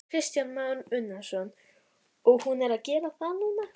Kristján Már Unnarsson: Og hún er að gera það núna?